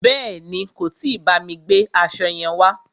Bèéni, kò tí bámi gbe aṣo yẹn wá.